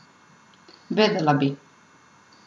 Vedela bi.